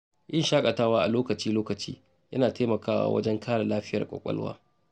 Yin shakatawa a lokaci-lokaci yana taimakawa wajen kare lafiyar kwakwalwa.